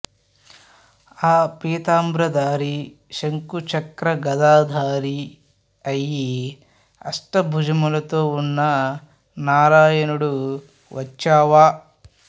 ఆ పీతాంబరధారి శంఖు చక్ర గదా ధారి అయి అష్ట భుజములతో ఉన్న నారాయణుడు వచ్చావా